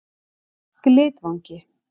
Glitvangi